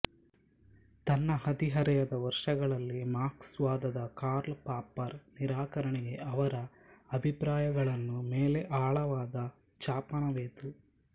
ತನ್ನ ಹದಿಹರೆಯದ ವರ್ಷಗಳಲ್ಲಿ ಮಾರ್ಕ್ಸ್ವಾದದ ಕಾರ್ಲ್ ಪಾಪ್ಪರ್ ನಿರಾಕರಣೆಗೆ ಅವರ ಅಭಿಪ್ರಾಯಗಳನ್ನು ಮೇಲೆ ಆಳವಾದ ಛಾಪನವೆತು